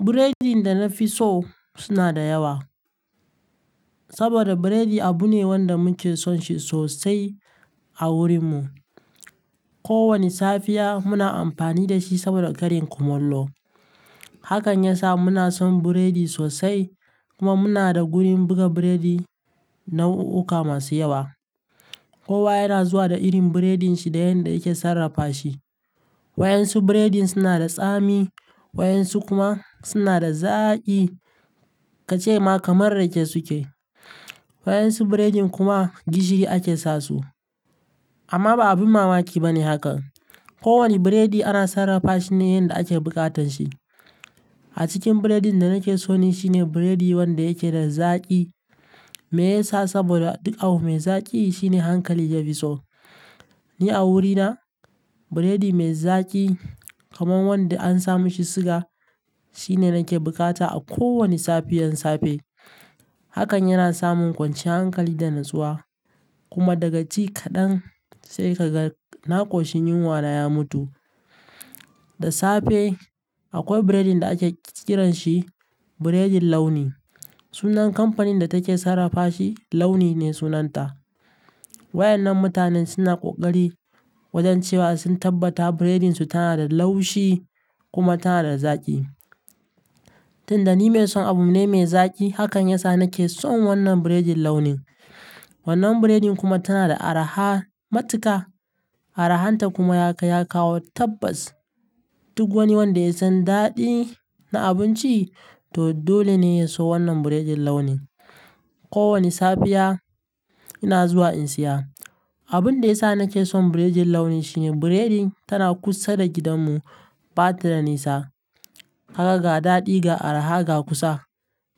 Biredin da na fi so suna da yawa. Saboda biredi abu ne wanda muke son shi sosai a wurinmu. Ko wani safiya muna amfani da shi saboda ƙarin kumallo. Hakan ya sa muna son biredi sosai kuma muna da wurin buga biredi na u uka masu yawa. Kowa yana zuwa da irin biredin shi da yanda yake sarrafa shi. Wayansu biredin suna da tsami waɗansu kuma suna da zaƙi kace ma kamar rake suke. Waɗansu biredin kuma gishiri ake sa su. Amma ba abin mamaki ba ne hakan. Ko wani biredi ana sarrafa shi ne yanda ake buƙatar shi. A cikin biredin da nake so ne shine biredi wanda yake da zaƙi. Me yasa? Saboda duk abu mai zaƙi shine hankali ya fi so. Ni a wurina biredi mai zaƙi kamar wanda an sa mishi siga shine nake bukata a ko wani safiyan safe. Hakan yana samun kwanciyar hankali da natsuwa kuma daga ci kaɗan sai ka ga naƙoshin yunwa na ya mutu. Da safe akwai biredin da ake kiranshi biredin launi. Sunan kamfanin da take sarrafa shi Launi ne sunanta. Waɗannan mutanen suna ƙoƙari wajen cewa sun tabbata biredin su tana da laushi kuma tana da zaƙi. Tunda ni mai son abu ne mai zaƙi hakan ya sa nake son wannan biredin launin. Wannan biredin kuma tana da araha matuka. Arahan ta kuma ya kai ya kawo tabbas. Duk wani wanda ya san daɗi na abinci to dole ne ya so wannan biredin launin. Ko wani safiya ina zuwa in saya. Abun da ya sa nake son biredin launi shine biredin tana kusa da gidanmu ɓatadanisa. Kaga ga daɗi ga araha ga kusa.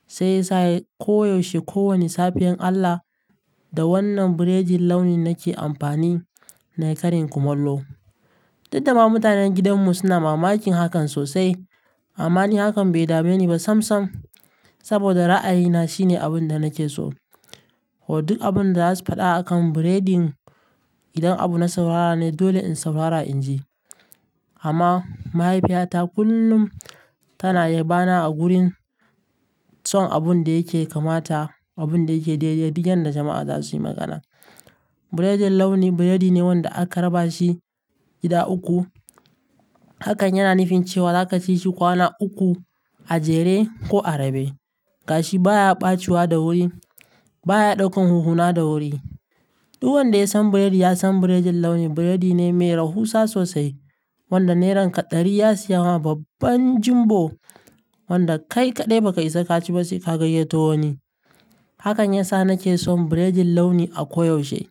Sai sa koyaushe ko wani safiyan Allah da wannan biredin launin nake amfani na ƙarin kumallo. Didda ma mutanen gidanmu suna mamakin hakan sosai amma ni hakan bai dabe ni ba sam sam saboda ra'ayina shine abun da nake so. Ko duk abun da za su faɗa akan biredin idan abu na saurara ne dole in saurara in ji. Amma mahaifiyata kullum tana yabana a gurin son abun da yake kamata, abun da yake daidai, duk yanda jama'a za su yi magana. Biredin launi biredi ne wanda aka raba shi gida uku. Hakan yana nufin cewa za ka ci shi kwana uku a jere ko a rabe. Gashi baya ɓacewa da wuri, baya ɗaukan hunhuna da wuri. Duk wanda ya san biredi ya san biredin launi biredi ne mai rahusa sosai wanda neran ka ɗari ya siya ma babban jumbo wanda kai ka ɗai ba ka isa ka ci ba sai ka gayyato wani. Hakan ya sa nake son biredin launi a koyaushe.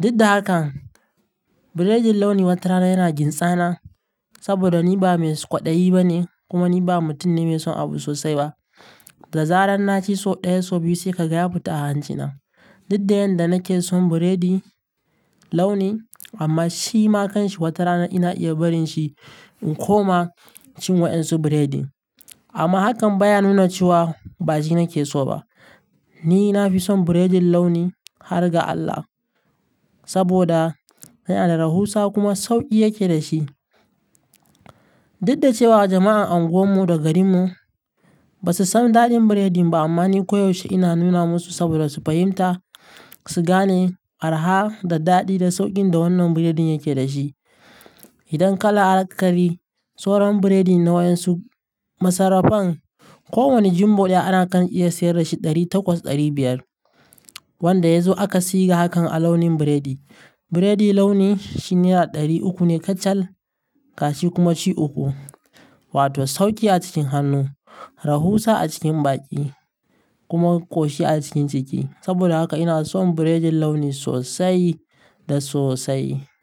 Duk da hakan biredin launi wata rana yana gintsa na saboda ni ba mai kwaɗayi ba ne kuma ni ba mutum ne mai son abu sosai ba. Da zarar na ci so ɗaya so biyu sai ka ga ya fita a hanjina. Duk da yanda nake son biredi launi amma shi ma kanshi wata rana ina iya barin shi in koma cin waɗansu biredi. Amma hakan baya nuna cewa ba shi nake so ba. Ni na fi son biredin launi har ga Allah saboda yana da rahusa kuma sauƙi yake da shi. Duk da cewa jama'an anguwanmu da garinmu ba su san daɗin biredin ba amma ni koyaushe ina nuna musu saboda su fahimta, su gane araha da daɗi da sauƙin da wannan biredin yake da shi. Idan kala akari soron biredi na waɗansu masarrafan ko wani jumbo ɗaya ana kan iya sayar da shi ɗari takwas ɗari biyar. Wanda ya zo aka siga hakan a launin biredi. Biredi launi shi nera ɗari uku ne kacal gashi kuma ci uku. Wato sauƙi a cikin hannu, rahusa a cikin baki kuma ƙoshi a cikin ciki. Saboda haka ina son biredin launi sosai da sosai.